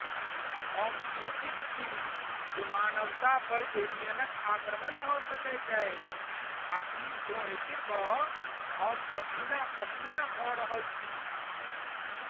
हम चिन्तित छी जे मानवता पर एलियनक आक्रमण भऽ सकैत अछि आ ई सोचि कऽ हम पसीना पसीना भऽ रहल छी।